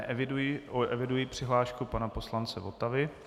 Eviduji přihlášku pana poslance Votavy.